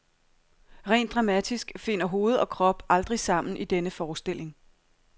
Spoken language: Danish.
Rent dramatisk finder hoved og krop aldrig sammen i denne forestilling.